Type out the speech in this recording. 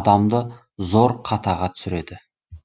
адамды зор қатаға түсіреді